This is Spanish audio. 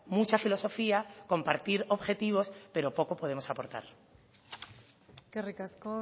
mucha filosofía compartir objetivos pero poco podemos aportar eskerrik asko